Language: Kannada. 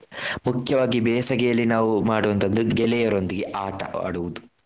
ಮುಖ್ಯವಾಗಿ ಬೇಸಗೆಯಲ್ಲಿ ನಾವು ಮಾಡುವಂತದ್ದು ಗೆಳೆಯರೊಂದಿಗೆ ಆಟ ಆಡುವುದು.